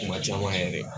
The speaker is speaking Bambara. Kuma caman yɛrɛ